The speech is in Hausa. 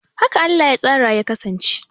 Haka Allah ya tsara ya kasance